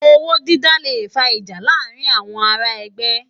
Ôwó dìdá lé fá ijá làárin áwòn àrá ègbè